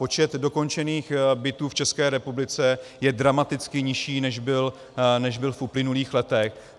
Počet dokončených bytů v České republice je dramaticky nižší, než byl v uplynulých letech.